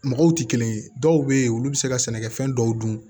Mɔgɔw tɛ kelen ye dɔw bɛ yen olu bɛ se ka sɛnɛkɛfɛn dɔw dun